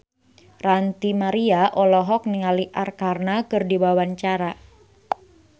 Ranty Maria olohok ningali Arkarna keur diwawancara